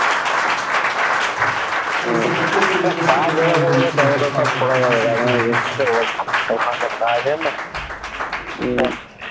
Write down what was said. ও একটা কাজ উম